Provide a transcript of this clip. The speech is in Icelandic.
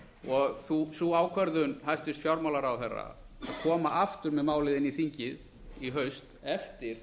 og sú ákvörðun hæstvirtur fjármálaráðherra að koma aftur með málið inn í þingið í haust eftir